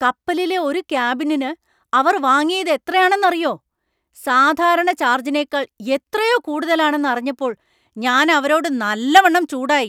കപ്പലിലെ ഒരു കാബിനിന് അവർ വാങ്ങിയത് എത്രയാണെന്നറിയോ; സാധാരണ ചാർജിനേക്കാൾ എത്രയോ കൂടുതലാണെന്ന് അറിഞ്ഞപ്പോൾ ഞാൻ അവരോട് നല്ലവണം ചൂടായി.